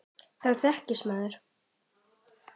Þá þekkist maður.